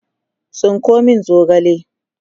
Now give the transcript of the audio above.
tsinko min zogale!